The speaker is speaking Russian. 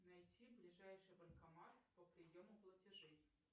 найти ближайший банкомат по приему платежей